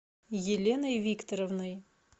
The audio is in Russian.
еленой викторовной